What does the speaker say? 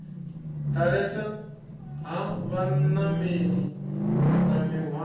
ḓalesa ha vhanameli na mihwalo